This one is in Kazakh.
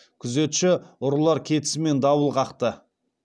күзетші ұрылар кетісімен дабыл қақты